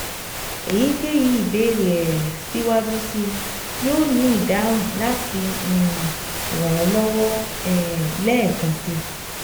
eyikeyi ibeere um siwaju sii, yoo ni idunnu lati um ran ọ lọwọ um lẹẹkansi